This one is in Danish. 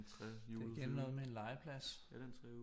Det igen noget med en legeplads